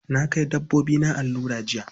Na kai dabbobina allura jiya.